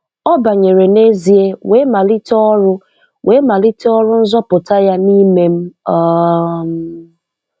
Ọ banyere n'ezie wee malite ọrụ wee malite ọrụ nzọpụta Ya n'ime m. um